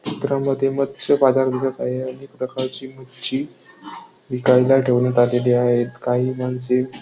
चित्रामध्ये मच्छ बाजार भरत आहे अनेक प्रकारची मच्छी विकायला ठेवन्यात आलेली आहेत काही माणसे --